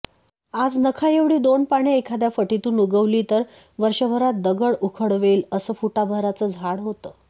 आज नखाएवढी दोन पाने एखाद्या फटीतून उगवली तर वर्षभरात दगड उखडवेल असं फुटाभराचं झाड होतं